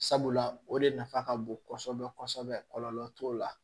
Sabula o de nafa ka bon kosɛbɛ kosɛbɛ kɔlɔlɔ t'o la